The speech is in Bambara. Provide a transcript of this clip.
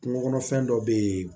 Kungo kɔnɔfɛn dɔ bɛ yen